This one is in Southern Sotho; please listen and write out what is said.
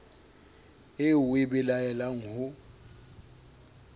eo o e belaelang ho